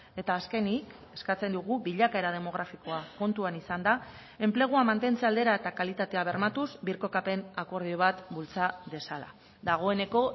eta azkenik eskatzen dugu bilakaera demografikoa kontuan izanda enplegua mantentze aldera eta kalitatea bermatuz birkokapen akordio bat bultza dezala dagoeneko